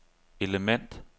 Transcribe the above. element